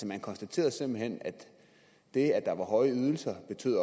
man konstaterede simpelt hen at det at der var høje ydelser